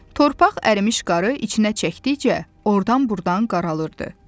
Torpaq ərimiş qarı içinə çəkdikcə oradan-buradan qaralırdı.